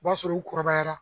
U b'a sɔrɔ u kɔrɔbayara